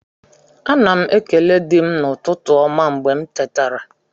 Ana m ekele di m n'ụtụtụ ọma mgbe m tetara